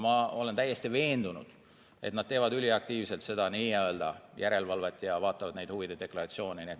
Ma olen täiesti veendunud, et nad teevad üliaktiivselt seda järelevalvet ja vaatavad neid huvide deklaratsioone.